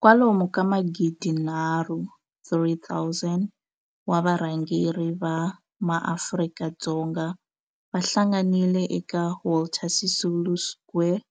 Kwalomu ka magidi nharhu, 3 000, wa varhangeri va maAfrika-Dzonga va hlanganile eka Walter Sisulu Square